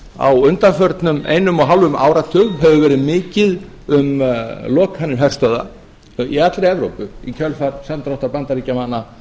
á undanförnum einum og hálfum áratug hefur verið mikið um lokanir herstöðva í allri evrópu í kjölfar samdráttar bandaríkjamanna